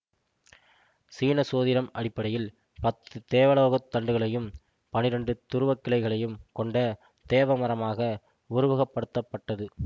சீன சோதிடம் அடிப்படையில் பத்து தேவலோக தண்டுகளையும் பன்னிரெண்டு துருவக் கிளைகளையும் கொண்ட தேவமரமாக உருவகப்படுத்தப்பட்டது